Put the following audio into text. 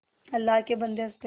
अल्लाह के बन्दे हंस दे